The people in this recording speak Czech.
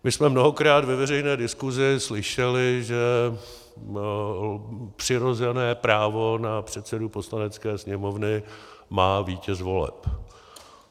My jsme mnohokrát ve veřejné diskuzi slyšeli, že přirozené právo na předsedu Poslanecké sněmovny má vítěz voleb.